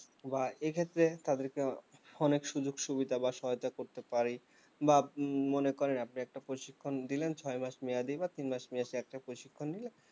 বা এক্ষেত্রে তাদের কে অনেক সুযোগ সুবিধা বা সহায়তা করতে পারি বা মনে করেন আপনি একটা প্রশিক্ষণ দিলেন ছয় মাস মেয়াদি বা তিন মাস একটা প্রশিক্ষণ দিলেন